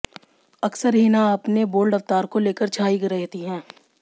अक्सर हिना अपने बोल्ड अवतार को लेकर छायी रहती हैं